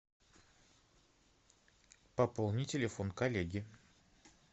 пополни телефон коллеги